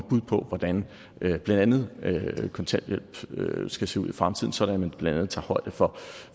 bud på hvordan blandt andet kontanthjælpen skal se ud i fremtiden sådan at man blandt andet tager højde for